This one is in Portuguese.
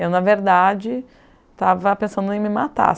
Eu, na verdade, estava pensando em me matar.